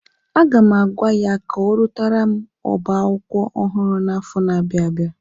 Aga m agwa ya ka ọrụtara m oba akwụkwọ ọhụrụ n'afọ na-abịa abịa.